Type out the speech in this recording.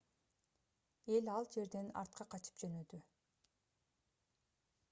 эл ал жерден артка качып жөнөдү